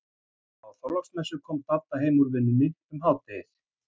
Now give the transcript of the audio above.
Á Þorláksmessu kom Dadda heim úr vinnunni um hádegið.